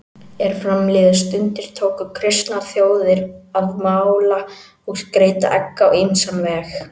Er fram liðu stundir tóku kristnar þjóðir að mála og skreyta egg á ýmsan veg.